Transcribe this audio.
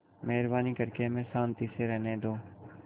मेहरबानी करके हमें शान्ति से रहने दो